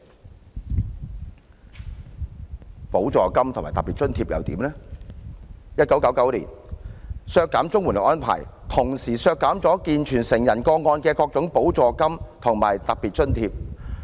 至於補助金及特別津貼方面 ，1999 年削減綜援的安排，同時削減了健全成人個案的各種補助金及特別津貼。